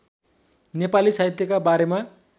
नेपाली साहित्यका बारेमा